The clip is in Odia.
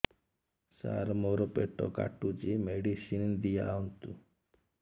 ସାର ମୋର ପେଟ କାଟୁଚି ମେଡିସିନ ଦିଆଉନ୍ତୁ